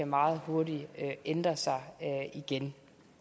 meget hurtigt kan ændre sig igen